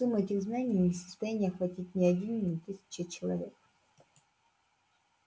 сумму этих знаний не в состоянии охватить ни один ни тысяча человек